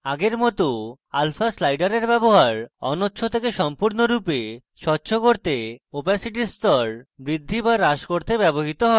আগের মত alpha slider ব্যবহার অনচ্ছ থেকে সম্পূর্ণরূপে স্বচ্ছ করতে opacity স্তর বৃদ্ধি বা হ্রাস করতে ব্যবহৃত হয়